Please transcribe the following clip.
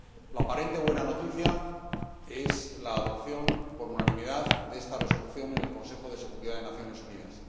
La aparente buena noticia es la adopción por unanimidad de esta Resolución en el Consejo de Seguridad de las Naciones Unidas.